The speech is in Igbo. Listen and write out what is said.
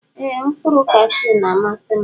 Eeh mkpuru kashu na amasim.